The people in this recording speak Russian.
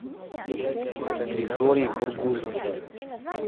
григорий кургузов